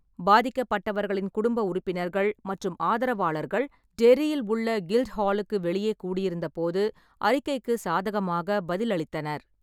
பாதிக்கப்பட்டவர்களின் குடும்ப உறுப்பினர்கள் மற்றும் ஆதரவாளர்கள் டெர்ரியில் உள்ள கில்ட்ஹாலுக்கு வெளியே கூடியிருந்தபோது, ​​அறிக்கைக்கு சாதகமாக பதிலளித்தனர்.